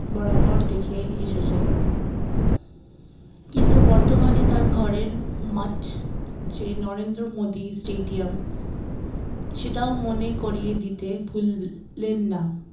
বরাবর দেখে এসেছেন কিন্তু বর্তমানে তার ঘরের মাঠ যে নরেন্দ্রমোদী স্টেডিয়াম সেটাও মনে করিয়ে দিতে ভুল লেন না